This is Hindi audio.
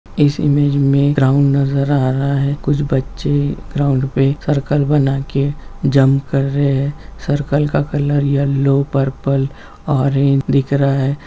इस इमेज मे ग्राउन्ड नजर आ रहा है कुछ बच्चे ग्राउंड पे सर्कल बना के जम्प कर रहे है सर्कल का कलर येलो पर्पल ऑरेंज दिख रहा है।